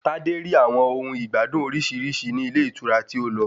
Tadé rí àwọn ohun ìgbádùn orísirísi ní ilé ìtura tí ó lọ.